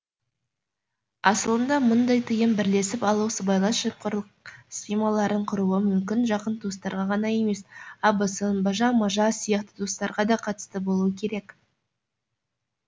асылында мұндай тыйым бірлесіп алып сыбайлас жемқорлық схемаларын құруы мүмкін жақын туыстарға ғана емес абысын бажа мажа сияқты туыстарға да қатысты болуы керек